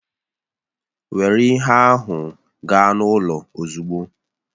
Were ihe ndị ahụ gaa n'ụlọ ozugbo!